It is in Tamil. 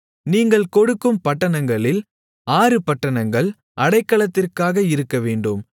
நீங்கள் கொடுக்கும் பட்டணங்களில் ஆறு பட்டணங்கள் அடைக்கலத்திற்காக இருக்கவேண்டும்